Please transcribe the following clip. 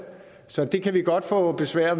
så det kan vi godt få besvær